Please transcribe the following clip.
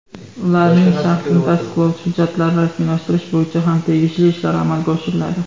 ularning shaxsini tasdiqlovchi hujjatlarni rasmiylashtirish bo‘yicha ham tegishli ishlar amalga oshiriladi.